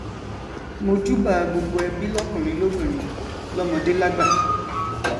mojúbà gbogbo ẹbí lọkùnrin lóbìnrin lọmọdé lágbà